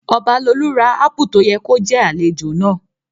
Ọbalolú ra ápù tó yẹ kó jẹ́ àlejò náà